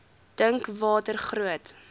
dink watter groot